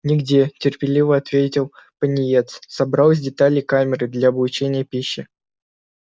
нигде терпеливо ответил пониетс собрал из деталей камеры для облучения пищи